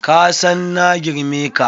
Kasan na girme ka.